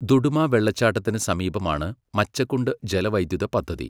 ദുഡുമ വെള്ളച്ചാട്ടത്തിന് സമീപമാണ് മച്ചകുണ്ട് ജലവൈദ്യുത പദ്ധതി.